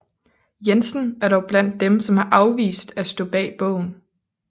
Jensen er dog blandt dem som har afvist at stå bag bogen